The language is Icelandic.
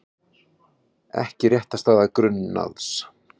Ekki réttarstaða grunaðs